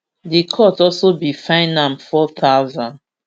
di court also bin fine am four thousand